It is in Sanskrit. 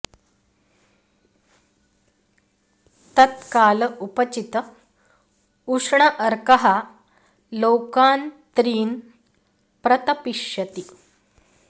तत् काल उपचित उष्ण अर्कः लोकान् त्रीन् प्रतपिष्यति